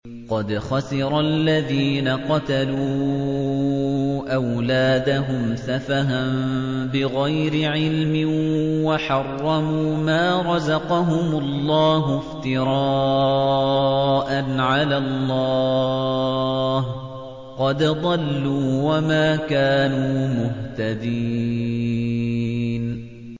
قَدْ خَسِرَ الَّذِينَ قَتَلُوا أَوْلَادَهُمْ سَفَهًا بِغَيْرِ عِلْمٍ وَحَرَّمُوا مَا رَزَقَهُمُ اللَّهُ افْتِرَاءً عَلَى اللَّهِ ۚ قَدْ ضَلُّوا وَمَا كَانُوا مُهْتَدِينَ